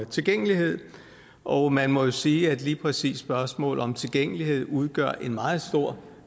tilgængelighed og man må jo sige at lige præcis spørgsmålet om tilgængelighed udgør en meget stor